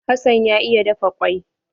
Hassan ya iya dafa kwai.